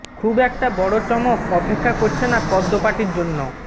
খুব একটা বড় চমক অপেক্ষা করছে না পদ্ম পার্টির জন্য